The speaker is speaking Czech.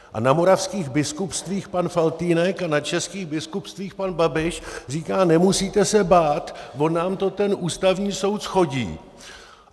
A na moravských biskupstvích pan Faltýnek a na českých biskupstvích pan Babiš říká - nemusíte se bát, on nám to ten Ústavní soud shodí.